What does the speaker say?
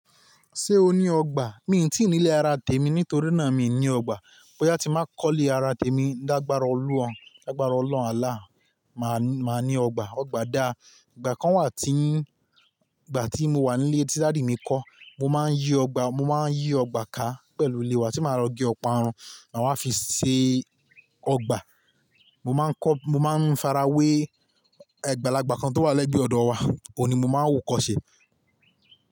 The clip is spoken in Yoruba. Ṣé o ní ọgbà? Mi ò tí ì nílé ara tèmi nítorí náà mi ní ọgbà. Bo ya ti máa kọ́lé ara tèmi, dàgbàárọ̀ olúhàn, làgbàárọ̀ ọlọ́run Allah máà ní ọgbà. Ọgbà da. Ìgbà kan wà tí ń, ìgbà tí mo wà nílé tí daddy mi kọ́, mo máa ń yí ọgbà, mo máa ń yí ọgbà ká pẹ̀lú ilé wa tí màá lo ge ọparun, mà wa fi ṣe ọgbà. Mo máa ń kọ́, mo máa ń farawé, ẹgbàá lagba kan tó wà lẹ́gbẹ̀ẹ́ ọ̀dọ̀ wa, òun ni mo máa ń wo kọ́ṣẹ́.